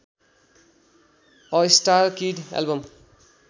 a star kid album